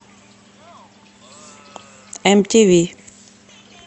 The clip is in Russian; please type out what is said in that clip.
мтв